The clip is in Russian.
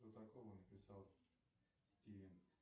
что такого написал стивен